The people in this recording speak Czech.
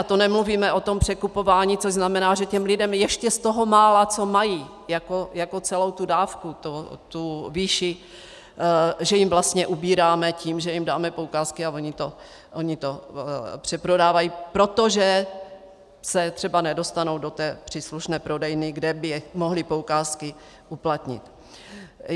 A to nemluvíme o tom překupování, což znamená, že těm lidem ještě z toho mála, co mají jako celou tu dávku, tu výši, že jim vlastně ubíráme tím, že jim dáme poukázky, a oni to přeprodávají, protože se třeba nedostanou do té příslušné prodejny, kde by mohli poukázky uplatnit.